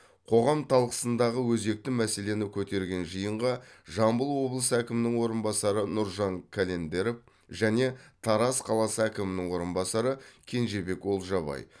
қоғам талқысындағы өзекті мәселені көтерген жиынға жамбыл облысы әкімінің орынбасары нұржан календеров және тараз қаласы әкімінің орынбасары кенжебек олжабай